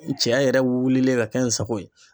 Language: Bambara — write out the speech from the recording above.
Cɛya yɛrɛ wulilen ka kɛ n sago ye.